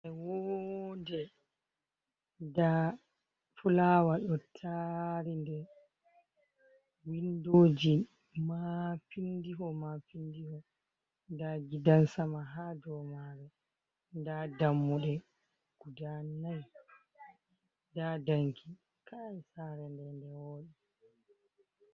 Maunde nda fulawa do tari nde. Windoji Mapindiho Mapindiho nda Gidan sama ha dou man nda Dammuɗe guda nai nda danki. Kai Sare nde nde Woɗi.